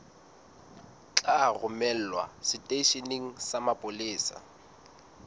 tla romelwa seteisheneng sa mapolesa